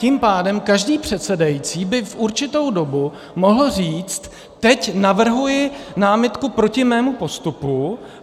Tím pádem každý předsedající by v určitou dobu mohl říct: teď navrhuji námitku proti mému postupu.